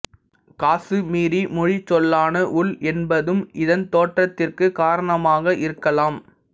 காசுமீரி மொழிச் சொல்லான வுல் என்பதும் இதன் தோற்றத்திற்கு காரணமாக இருக்கலாம்